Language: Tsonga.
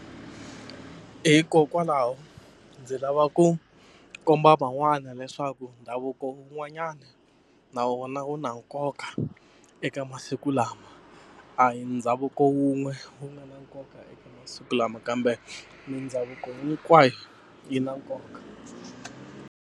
Hikokwalaho ndzi lava ku komba van'wana leswaku ndhavuko wun'wanyana na wona wu na nkoka eka masiku lama a hi ndhavuko wun'we wu nga na nkoka eka masiku lama kambe mindhavuko hinkwayo yi na nkoka.